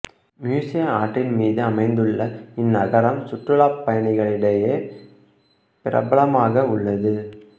Meuse ஆற்றின் மீது அமைந்துள்ள இந்நகரம் சுற்றுலாப் பயணிகளிடையே பிரபலமாக உள்ளது